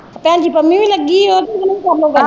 ਭੈਣ ਜੀ ਪੰਮੀ ਵੀ ਲੱਗੀ ਉਹਦੇ ਨਾਲ ਵੀ ਕਰਲੋ ਗੱਲ।